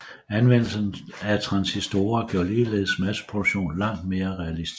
Anvendelsen af transistorer gjorde ligeledes masseproduktion langt mere realistisk